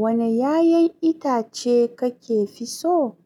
Wane 'ya'yan itace kake fi so?